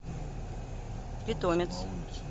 питомец